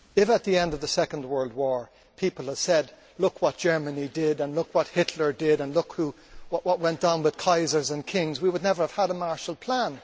If at the end of the Second World War people had said, look what Germany did', look what Hitler did' and look at what went on with Kaisers and Kings' we would never have had a Marshall Plan.